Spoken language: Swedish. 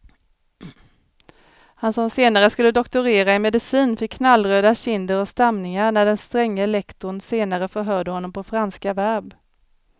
Han som senare skulle doktorera i medicin fick knallröda kinder och stamningar när den stränge lektorn senare förhörde honom på franska verb.